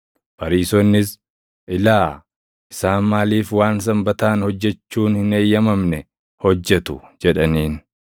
Fariisonnis, “Ilaa, isaan maaliif waan Sanbataan hojjechuun hin eeyyamamne hojjetu?” jedhaniin.